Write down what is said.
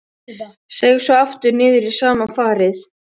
Seig svo aftur niður í sama farið.